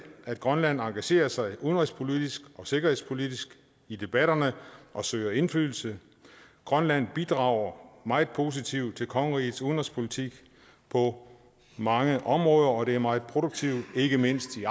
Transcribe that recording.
at grønland engagerer sig udenrigspolitisk og sikkerhedspolitisk i debatterne og søger indflydelse grønland bidrager meget positivt til kongerigets udenrigspolitik på mange områder og det er meget produktivt ikke mindst i